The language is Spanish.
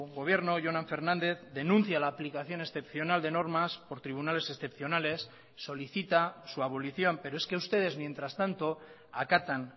gobierno jonan fernández denuncia la aplicación excepcional de normas por tribunales excepcionales solicita su abolición pero es que ustedes mientras tanto acatan